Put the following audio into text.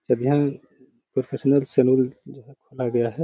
Professional saloon जो है खोला गया है।